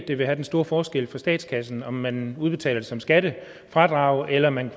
det vil have den store forskel for statskassen om man udbetaler det som skattefradrag eller man